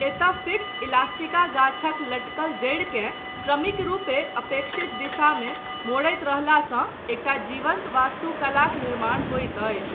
एतय ficus elastica गाछक लटकल जड़िकेँ क्रमिक रुपे अपेक्षित दिशामे मोड़ैत रहलासँ एकटा जीवन्त वास्तुकलाक निर्माण होइत अछि।